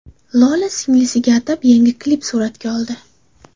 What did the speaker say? Lola singlisiga atab yangi klip suratga oldi.